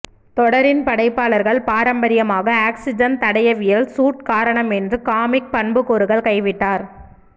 தொடரின் படைப்பாளர்கள் பாரம்பரியமாக ஆக்ஸிஜன் தடயவியல் சூட் காரணம் என்று காமிக் பண்புக்கூறுகள் கைவிட்டார்